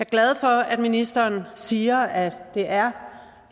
glad for at ministeren siger at det er